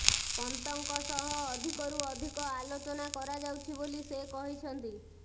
ପନ୍ତଙ୍କ ସହ ଅଧିକରୁ ଅଧିକ ଆଲୋଚନା କରାଯାଉଛି ବୋଲି ସେ କହିଛନ୍ତି